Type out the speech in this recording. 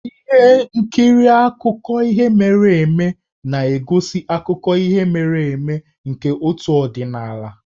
Ihe nkiri akụkọ ihe mere eme na-egosi akụkọ ihe mere eme nke otu ọdịnala.